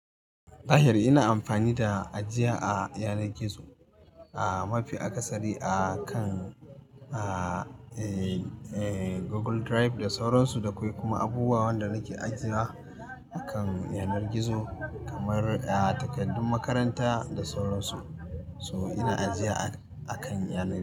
Zahiri ina amfani da ajiya a yanar gizo a mafi akasari akan, eh, eh Google Drive da sauran su, da akwai kuma abubuwan da nake ajiya akan yanar gizo kamar, a takardun makaranta da sauran su. So ina ajiya akan yanar gizo.